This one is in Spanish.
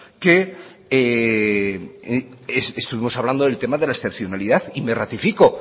que estuvimos hablando del tema de la excepcionalidad y me ratifico